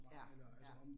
Ja, ja